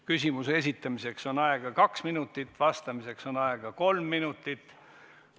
Küsimuse esitamiseks on aega kaks minutit, vastamiseks on aega kolm minutit.